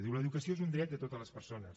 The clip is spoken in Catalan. diu l’educació és un dret de totes les persones